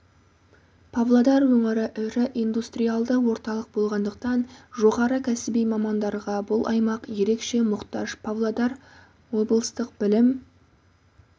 павлодар өңірі ірі индустриалды орталық болғандықтан жоғары кәсіби мамандарға бұл аймақ ерекше мұқтаж павлодар облыстық білім